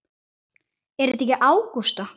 Er það ekki Ágústa?